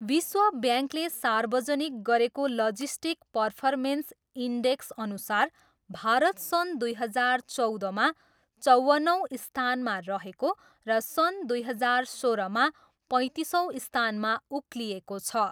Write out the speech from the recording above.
विश्व ब्याङ्कले सार्वजनिक गरेको लजिस्टिक पर्फमेन्स इन्डेक्सअनुसार भारत सन् दुई हजार चौधमा चौवन्नौँ स्थानमा रहेको र सन् दुई हजार सोह्रमा पैँतिसौँ स्थानमा उक्लिएको छ।